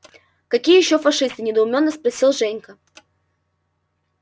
какие ещё фашисты недоумённо спросил женька